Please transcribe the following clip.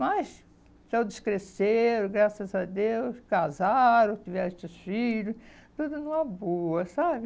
Mas todos cresceram, graças a Deus, casaram, tiveram seus filhos, tudo numa boa, sabe?